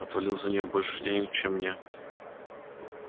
отвалил за неё больше денег чем мне